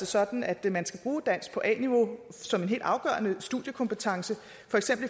sådan at man skal bruge dansk på a niveau som en helt afgørende studiekompetence